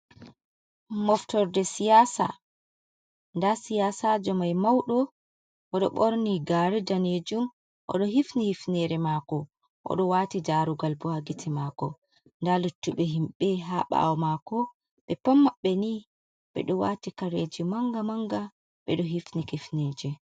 Moftorde siyasa da siyasa jo mai maudo oɗo borni gare danejum oɗo hifni hifnere mako oɗo wati jarugal boha gite mako da luttuɓe himɓe ha ɓawo mako be pan mabbe ni ɓeɗo wati kareji manga manga ɓeɗo hifni hifneje.